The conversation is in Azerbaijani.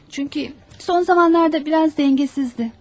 Çünkü son zamanlarda biraz dengesizdi.